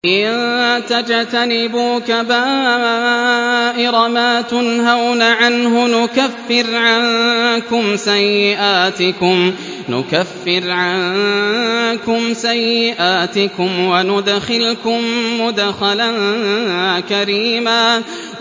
إِن تَجْتَنِبُوا كَبَائِرَ مَا تُنْهَوْنَ عَنْهُ نُكَفِّرْ عَنكُمْ سَيِّئَاتِكُمْ وَنُدْخِلْكُم مُّدْخَلًا كَرِيمًا